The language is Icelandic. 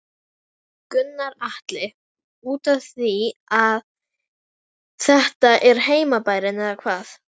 Gunnar Atli: Útaf því að þetta er heimabærinn eða hvað?